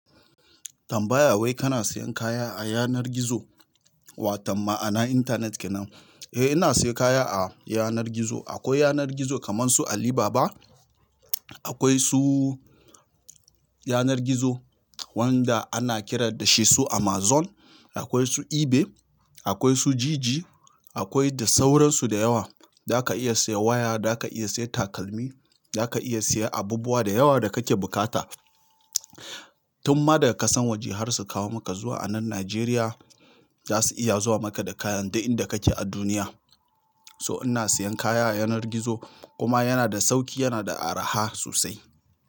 Tambaya wai kana siyan kaya a yanar gizo watan ma'ana intanet kenan? Eh ina siya kaya a yanar gizo. Akwai yanar gizo kaman su Alibaba akwai su yanar gizo wanda ana kira dashi su amazon akwai su ibel akwai su jiji akwai da sauran su da yawa. Zaka iya siyan waya, zaka iya siya takalmi, zaka iya siya abubuwa da yawa da kake buƙata. Tum ma da ga ƙasan waje har su kawo maka zuwa anan Najeriya, zasu iya zuwa maka da kayan duk inda kake a duniya. So ina siyan kaya a yanar gizo kuma yana da sauki yana da araha sosai.